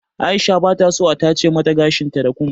Aisha bata so a tace mata gashin ta da kum.